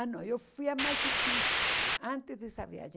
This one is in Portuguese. Ah, não, eu fui a Machu Picchu antes dessa viagem.